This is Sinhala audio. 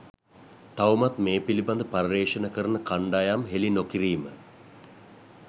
තවමත් මේ පිළිබඳ පර්යේෂණ කරන කණ්ඩායම් හෙළි නොකිරීම